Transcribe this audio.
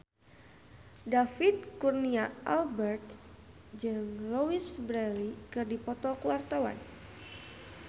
David Kurnia Albert jeung Louise Brealey keur dipoto ku wartawan